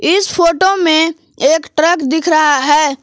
इस फोटो में एक ट्रक दिख रहा है।